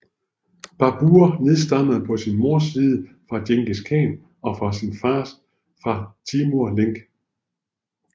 Babur nedstammede på sin mors side fra Djengis Khan og på sin fars fra Timur Lenk